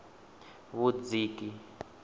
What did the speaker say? vhudziki